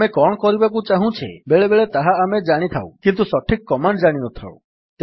ଆମେ କଣ କରିବାକୁ ଚାହୁଁଛେ ବେଳେବେଳେ ତହା ଆମେ ଜାଣିଥାଉ କିନ୍ତୁ ସଠିକ୍ କମାଣ୍ଡ୍ ଜାଣିନଥାଉ